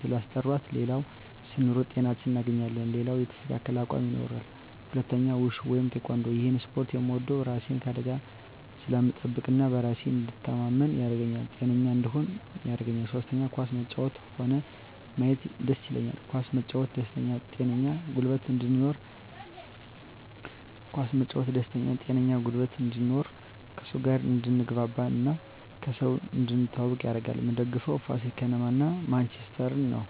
ስላስጠራት ሌላው ስንሮጥ ጤናችን እናገኛለን ሌላው የተስተካከለ አቅም ይኖራል ሁለተኛው ውሹ ወይም ቲካንዶ እሄን እስፖርት ምወደው እራሴን ከአደጋ ስለምጠብቅ እና በራሴ እንድተማመን ያረገኛል ጤነኛ እንድሆንም ያረገኛል ሶስተኛ ኳስ መጫወት ሆነ ማየት ደስ ይለኛል ኳስ መጫወት ደስተኛ ጤነኛ ጉልበት እንድኖር ከሰው ጋር አድትግባባ እና ከሰው እንድትተዋወቅ ያረጋል ምደግፈው ፋሲል ከነማ እና ማንችስተር ነው